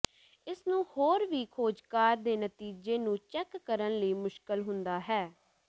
ਇਸ ਨੂੰ ਹੋਰ ਵੀ ਖੋਜਕਾਰ ਦੇ ਨਤੀਜੇ ਨੂੰ ਚੈੱਕ ਕਰਨ ਲਈ ਮੁਸ਼ਕਲ ਹੁੰਦਾ ਹੈ